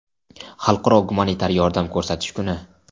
Xalqaro gumanitar yordam ko‘rsatish kuni;.